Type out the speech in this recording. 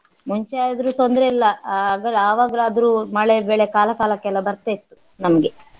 ಮುಂಚೆ ಆದ್ರು ತೊಂದ್ರೆ ಇಲ್ಲ ಆಹ್ ಅವ~ ಆವಾಗಲಾದರೂ ಮಳೆ ಬೆಳೆ ಕಾಲ ಕಾಲಕ್ಕೆಲ್ಲ ಬರ್ತಾ ಇತ್ತು ನಮ್ಗೆ